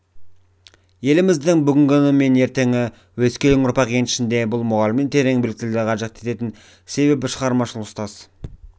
еліміздің бүгіні мен ертеңі өскелең ұрпақ еншісінде бұл мұғалімнен терең біліктілікті қажет етеді себебі шығармашыл ұстаз